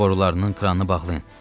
Qida borularının kranını bağlayın.